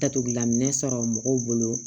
Datugulaminɛn sɔrɔ mɔgɔw bolo